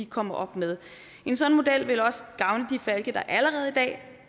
kommer op med en sådan model ville også gavne de falke der allerede i dag